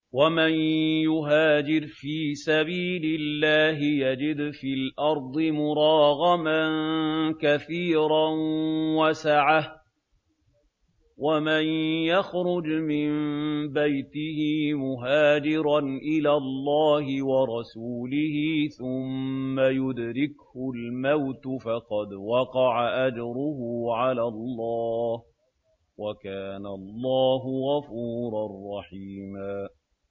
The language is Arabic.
۞ وَمَن يُهَاجِرْ فِي سَبِيلِ اللَّهِ يَجِدْ فِي الْأَرْضِ مُرَاغَمًا كَثِيرًا وَسَعَةً ۚ وَمَن يَخْرُجْ مِن بَيْتِهِ مُهَاجِرًا إِلَى اللَّهِ وَرَسُولِهِ ثُمَّ يُدْرِكْهُ الْمَوْتُ فَقَدْ وَقَعَ أَجْرُهُ عَلَى اللَّهِ ۗ وَكَانَ اللَّهُ غَفُورًا رَّحِيمًا